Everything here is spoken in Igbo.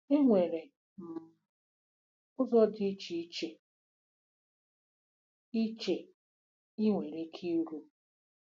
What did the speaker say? Enwere um ụzọ dị iche iche ị iche ị nwere ike iru.